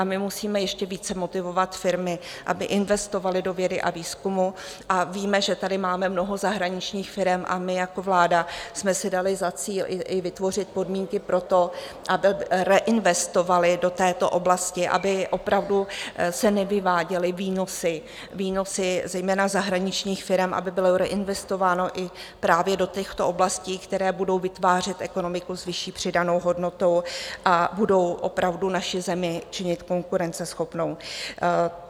A my musíme ještě více motivovat firmy, aby investovaly do vědy a výzkumu, a víme, že tady máme mnoho zahraničních firem, a my jako vláda jsme si dali za cíl i vytvořit podmínky pro to, aby reinvestovaly do této oblasti, aby opravdu se nevyváděly výnosy zejména zahraničních firem, aby bylo reinvestováno i právě do těchto oblastí, které budou vytvářet ekonomiku s vyšší přidanou hodnotou a budou opravdu naši zemi činit konkurenceschopnou.